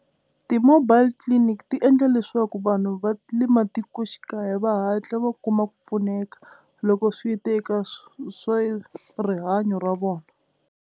Ti-mobile clinic ti endla leswaku vanhu va le matikoxikaya va hatla va kuma ku pfuneka loko swi ta ka swa rihanyo ra vona.